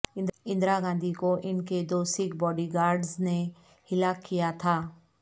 اندرا گاندھی کو ان کے دو سکھ باڈی گارڈز نے ہلاک کیا تھا